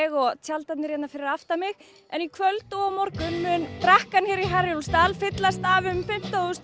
og tjaldarnir hérna fyrir aftan mig en í kvöld og á morgun mun brekkan hér í Herjólfsdal fyllast af um fimmtán þúsund